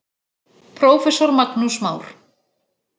Prófessor Magnús Már